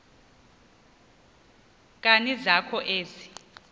nkani zakho ezi